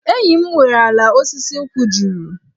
Enyi m nwere ala osisi nkwụ juru.